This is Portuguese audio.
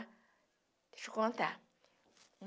Deixa eu contar.